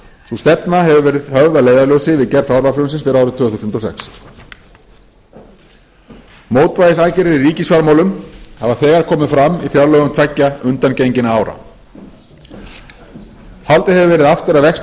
sú stefna hefur verið höfð að leiðarljósi við gerð fjárlagafrumvarpsins fyrir árið tvö þúsund og sex mótvægisaðgerðir í ríkisfjármálum hafa þegar komið fram í fjárlögum tveggja undangenginna ára haldið hefur verið aftur af vexti